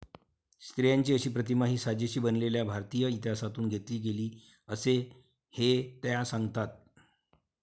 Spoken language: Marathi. स्त्रियांची अशी प्रतिमा ही साजेशी बनवलेल्या भारतीय इतिहासातून घेतली गेली असे ही त्या सांगतात.